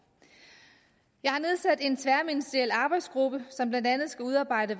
jeg har nedsat en tværministeriel arbejdsgruppe som blandt andet skal udarbejde